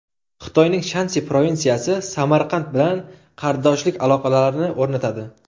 Xitoyning Shansi provinsiyasi Samarqand bilan qardoshlik aloqalarini o‘rnatadi.